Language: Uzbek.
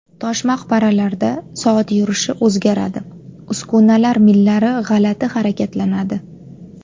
Tosh maqbaralarda soat yurishi o‘zgaradi, uskunalar millari g‘alati harakatlanadi.